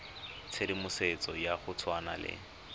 tshedimosetso ya go tshwana le